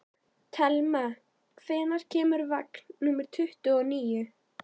Telma, hvenær kemur vagn númer tuttugu og níu?